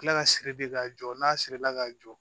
Kila ka siri bi k'a jɔ n'a sirila ka jɔ